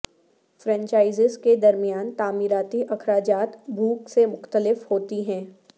franchises کے درمیان تعمیراتی اخراجات بھوک سے مختلف ہوتی ہیں